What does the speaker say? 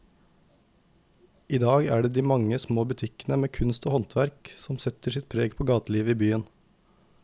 I dag er det de mange små butikkene med kunst og håndverk som setter sitt preg på gatelivet i byen.